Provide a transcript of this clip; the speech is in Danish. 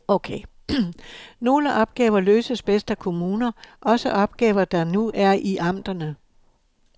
Nogle opgaver løses bedst af kommuner, også opgaver der nu er i amterne.